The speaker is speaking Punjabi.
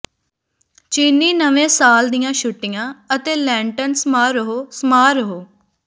ਚੀਨੀ ਨਵੇਂ ਸਾਲ ਦੀਆਂ ਛੁੱਟੀਆ ਅਤੇ ਲੈਨਟਨ ਸਮਾਰੋਹ ਸਮਾਰੋਹ